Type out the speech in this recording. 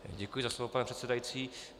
Děkuji za slovo, pane předsedající.